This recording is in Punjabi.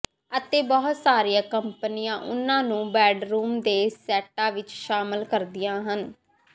ਅਤੇ ਬਹੁਤ ਸਾਰੀਆਂ ਕੰਪਨੀਆਂ ਉਨ੍ਹਾਂ ਨੂੰ ਬੈਡਰੂਮ ਦੇ ਸੈੱਟਾਂ ਵਿੱਚ ਸ਼ਾਮਲ ਕਰਦੀਆਂ ਹਨ